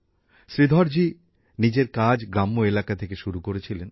শ্রীধর জি নিজের কাজ গ্রাম্য এলাকা থেকে শুরু করেছিলেন